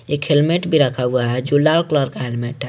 एक हेलमेट भी रखा हुआ है जो लाल कलर का हेलमेट है।